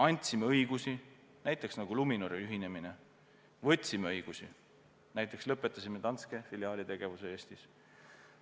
Andsime õigusi – näiteks Luminori ühinemine – ja võtsime õigusi – näiteks lõpetasime Danske filiaali tegevuse Eestis.